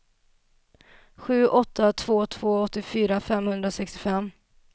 sju åtta två två åttiofyra femhundrasextiofem